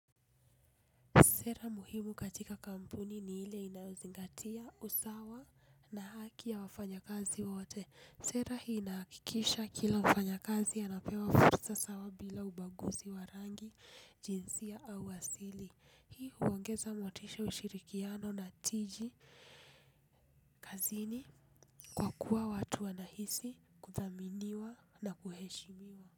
Sera muhimu katika kampuni ni ile inayozingatia usawa na haki ya wafanya kazi wote. Sera hii inahakikisha kila mfanyakazi anapewa fursa sawa bila ubaguzi wa rangi, jinsia au asili. Hii huongeza motisha ushirikiano na tiji kazini kwa kuwa watu wanahisi kuthaminiwa na kuheshimiwa.